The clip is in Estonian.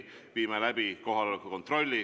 Viime läbi kohaloleku kontrolli.